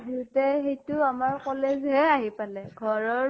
দিওঁতে সেইটো আমাৰ college হে আহি পালে। ঘৰৰ